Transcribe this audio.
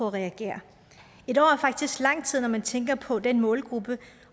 at reagere et år er faktisk lang tid når man tænker på den målgruppe